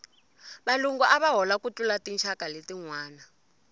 valungu ava hola ku tlula tinxaka letinwana